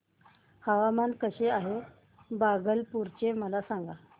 हवामान कसे आहे भागलपुर चे मला सांगा